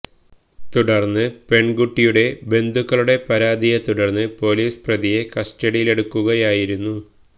തുടര്ന്ന് പെണ്കുട്ടിയുടെ ബന്ധുക്കളുടെ പരാതിയെ തുടര്ന്ന് പൊലീസ് പ്രതിയെ കസ്റ്റഡിയിലെടുക്കുകയായിരുന്നു